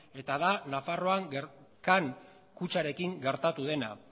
eta da nafarroan can kutxarekin gertatu dena